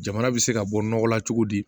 Jamana bɛ se ka bɔ nɔgɔ la cogo di